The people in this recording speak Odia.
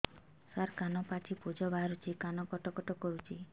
ସାର କାନ ପାଚି ପୂଜ ବାହାରୁଛି କାନ କଟ କଟ କରୁଛି